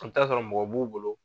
I bɛ taa sɔrɔ mɔgɔ b'u bolo